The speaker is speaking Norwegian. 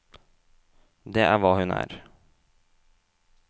Det er hva hun er.